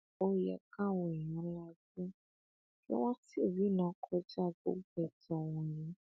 ó yẹ káwọn èèyàn lajú kí wọn sì rìnnà kọjá gbogbo ẹtàn wọnyìí